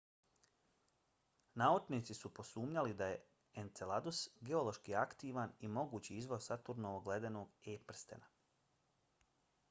naučnici su posumnjali da je enceladus geološki aktivan i mogući izvor saturnovog ledenog e-prstena